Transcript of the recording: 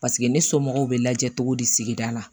Paseke ne somɔgɔw bɛ lajɛ cogo di sigida la